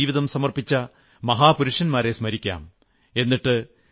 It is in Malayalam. ഭാരതത്തിനുവേണ്ടി ജീവിതം സമർപ്പിച്ച മഹാപുരുഷന്മാരെ സ്മരിക്കാം